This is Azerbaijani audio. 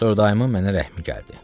Sonra dayımın mənə rəhmi gəldi.